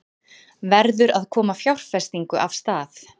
Verður að koma fjárfestingu af stað